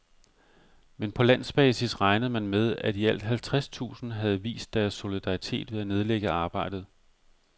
Men på landsbasis regnede man med, at i alt halvtreds tusind havde vist deres solidaritet ved at nedlægge arbejdet.